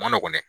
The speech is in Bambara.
Ma nɔgɔn dɛ